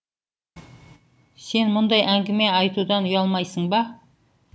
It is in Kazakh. сен мұндай әңгіме айтудан ұялмайсың ба